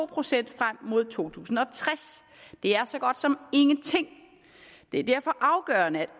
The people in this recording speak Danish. procent frem mod to tusind og tres det er så godt som ingenting det er derfor afgørende at